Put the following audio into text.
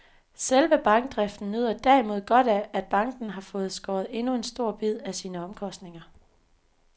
Selve bankdriften nyder derimod godt af, at banken har fået skåret endnu en stor bid af sine omkostninger.